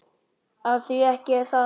Og því ekki það?